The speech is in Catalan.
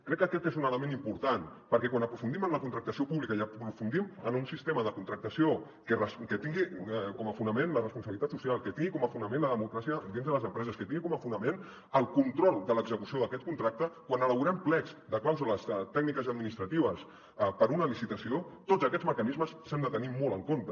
crec que aquest és un element important perquè quan aprofundim en la contractació pública i aprofundim en un sistema de contractació que tingui com a fonament la responsabilitat social que tingui com a fonament la democràcia dins de les empreses que tingui com a fonament el control de l’execució d’aquest contracte quan elaborem plecs de clàusules tècniques i administratives per a una licitació tots aquests mecanismes s’han de tenir molt en compte